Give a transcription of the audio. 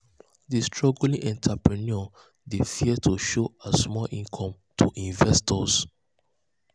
di struggling entrepreneur dey fear to show her um small income um to investors.